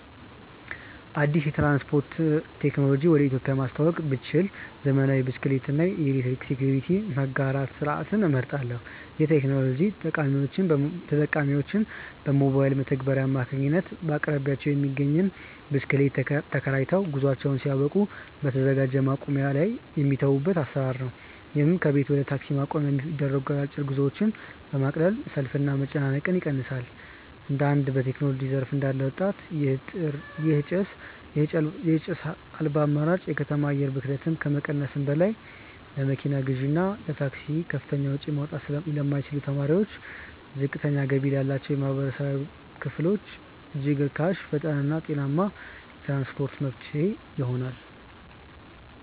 አዲስ የትራንስፖርት ቴክኖሎጂ ወደ ኢትዮጵያ ማስተዋወቅ ብችል፣ ዘመናዊ የብስክሌት እና የኤሌክትሪክ ስኩተር መጋራት ስርዓትን እመርጣለሁ። ይህ ቴክኖሎጂ ተጠቃሚዎች በሞባይል መተግበሪያ አማካኝነት በአቅራቢያቸው የሚገኝን ብስክሌት ተከራይተው፣ ጉዟቸውን ሲያበቁ በተዘጋጀ ማቆሚያ ላይ የሚተዉበት አሰራር ነው። ይህም ከቤት ወደ ታክሲ ማቆሚያ የሚደረጉ አጫጭር ጉዞዎችን በማቅለል ሰልፍንና መጨናነቅን ይቀንሳል። እንደ አንድ በቴክኖሎጂ ዘርፍ እንዳለ ወጣት፣ ይህ ጭስ አልባ አማራጭ የከተማ አየር ብክለትን ከመቀነሱም በላይ፣ ለመኪና ግዢና ለታክሲ ከፍተኛ ወጪ ማውጣት ለማይችሉ ተማሪዎችና ዝቅተኛ ገቢ ላላቸው ማህበረሰቦች እጅግ ርካሽ፣ ፈጣንና ጤናማ የትራንስፖርት መፍትሄ ይሆናል።